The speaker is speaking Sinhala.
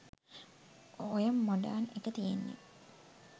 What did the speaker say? ඔය මොඩර්න් එක තියෙන්නේ